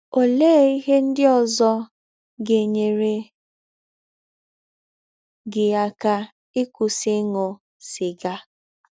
Ọlee ihe ndị ọzọ ga - enyere gị aka ịkwụsị ịṅụ sịga?